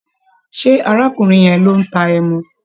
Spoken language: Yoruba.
Ṣé arákùnrin yẹn ló ń ta ẹmu?